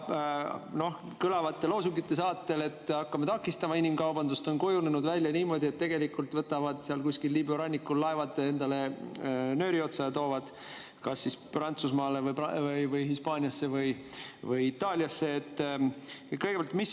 Kõlavate loosungite saatel, et hakkame takistama inimkaubandust, on kujunenud välja niimoodi, et tegelikult võtavad nad seal kuskil Liibüa rannikul laevad nööri otsa ja toovad kas Prantsusmaale, Hispaaniasse või Itaaliasse.